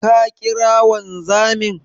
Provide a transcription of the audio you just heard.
Ka ƙira wanzamin?